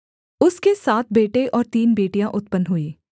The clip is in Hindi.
उसके सात बेटे और तीन बेटियाँ उत्पन्न हुई